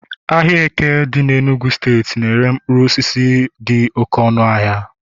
ahịa eke dị n'Enugwu steeti na-ere mkpụrụ osisi dị oke ọnụahịa